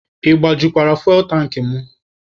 Ị gbajukwara fuwel tankị mụ?